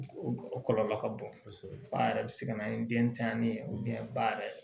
O kɔlɔlɔ ka bon kosɛbɛ fa yɛrɛ bɛ se ka na ni den tanɲanni ye ba yɛrɛ